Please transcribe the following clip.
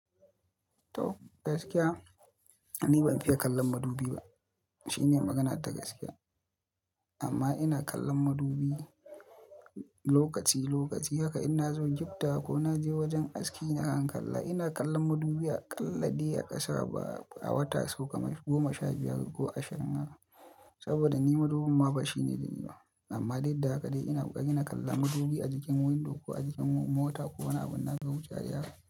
To gaskiya, ni ban fiye kallon madubi ba. Shine magana ta gaskiya amma ina kallon madubi lokaci-lokaci. Haka ina zo giftawa ko na je wajen aski nakan kalla. Ina kallon madubi a ƙalla dai a ƙasa ba a wata sau kamar goma sha biyar ko ashirin haka. Saboda ni madubin ma fashi ne da ni ma. Amma dai da haka dai ina bukata ina kalla madubi a jikin window ko a jikin mota ko wani abin na ga wucewa yake.